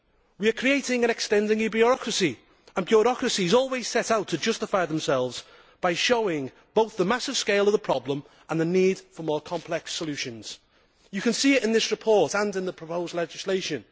We are creating and extending a bureaucracy, and bureaucracies always set out to justify themselves by showing both the massive scale of the problem and the need for more complex solutions. You can see it in this report and in the proposed legislation.